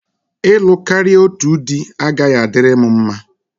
Ịlụ karịa otu dị agaghị adịrị m mma.